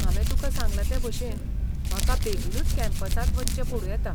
हांवें तुका सांगला ते भशेन, म्हाका बेगीनूच कॅम्पसांत वचचें पडूं येता.